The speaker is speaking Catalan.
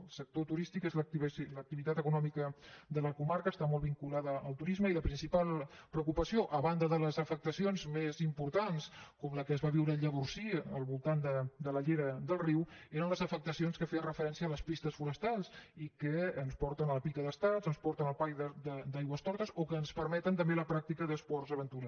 el sector turístic és l’activitat econòmica de la comarca està molt vinculada al turisme i la principal preocupació a banda de les afectacions més importants com la que es va viure a llavorsí al voltant de la llera del riu eren les afectacions que feien referència a les pistes forestals i que ens porten a la pica d’estats ens porten al parc d’aigüestortes o que ens permeten també la pràctica d’esports d’aventura